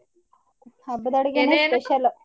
ಹಬ್ಬದಡ್ಗೇನೇ .